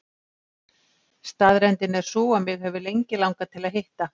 Staðreyndin er sú að mig hefur lengi langað til að hitta